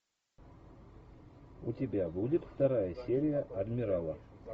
у тебя будет вторая серия адмирала